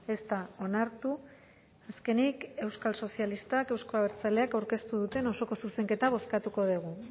ez da onartu azkenik euskal sozialistak eta euzko abertzaleak aurkeztu duten osoko zuzenketa bozkatuko dugu